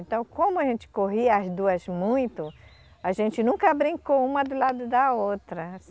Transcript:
Então, como a gente corria as duas muito, a gente nunca brincou uma do lado da outra.